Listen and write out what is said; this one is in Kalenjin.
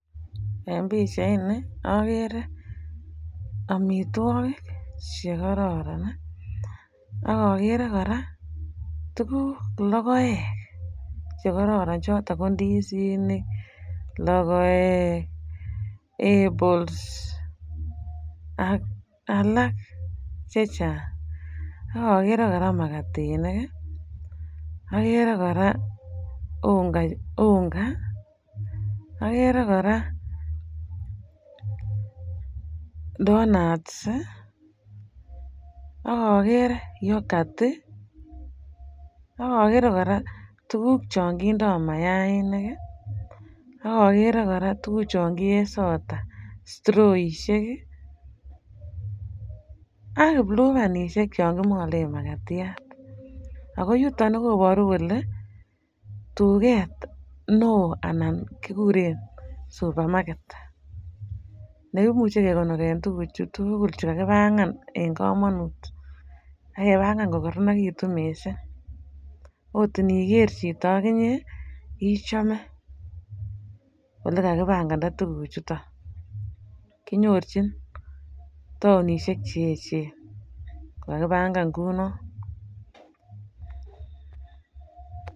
En pichaini agere amitwogik che kororon ak agere kora tuguk, logoek chekororon choto ko indisinik, logoek, apples ak alakche chang ak agere kora magatinik. Agere kora unga, agere kora tonuts, agere kora yokat, ak agere kora tuguk chon kindo mayainik ak agere kora tuguchon kie sota, stiroisiek ak kiplupan chon kimalen magatiat ago yuton kobaru kole tuget neo anan kiguren supamaget nekimuche kegonoren tuguchu tugul kagipangan en kamanut ak kebangan kokororonekitun mising. Otniger chito ak inye ichome olekakibanganda tuguchuton. Kinyorchin taonisiek che eechen ko kakipangan kunon